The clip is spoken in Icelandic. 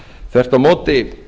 þvert á móti